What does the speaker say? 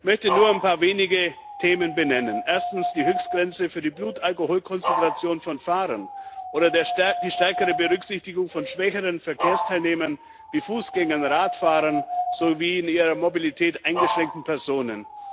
Ich möchte nur ein paar wenige Themen benennen Erstens die Höchstgrenze für die Blutalkoholkonzentration von Fahrern oder die stärkere Berücksichtigung von schwächeren Verkehrsteilnehmern wie Fußgängern, Radfahrern sowie in ihrer Mobilität eingeschränkten Personen.